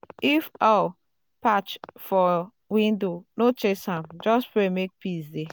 if owl perch for window no chase am just pray make peace dey.